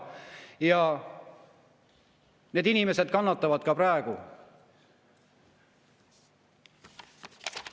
Ka need inimesed kannatavad praegu.